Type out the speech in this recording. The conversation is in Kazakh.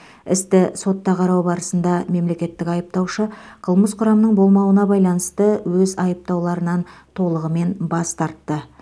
істі сотта қарау барысында мемлекеттік айыптаушы қылмыс құрамының болмауына байланысты өз айыптауларынан толығымен бас тартты